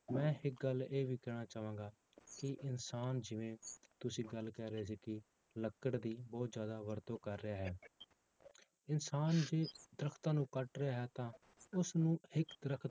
ਮੈਂ ਇੱਕ ਗੱਲ ਇਹ ਵੀ ਕਹਿਣਾ ਚਾਹਾਂਗਾ ਕਿ ਇਨਸਾਨ ਜਿਵੇਂ ਤੁਸੀਂ ਗੱਲ ਕਹਿ ਰਹੇ ਸੀ ਕਿ ਲੱਕੜ ਦੀ ਬਹੁਤ ਜ਼ਿਆਦਾ ਵਰਤੋਂ ਕਰ ਰਿਹਾ ਹੈ ਇਨਸਾਨ ਜੇ ਦਰਖਤਾਂ ਨੂੰ ਕੱਟ ਰਿਹਾ ਹੈ ਤਾਂ ਉਸਨੂੰ ਇੱਕ ਦਰਖਤ